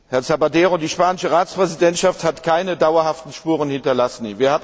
Herr Zapatero, die spanische Ratspräsidentschaft, hat keine dauerhaften Spuren hinterlassen.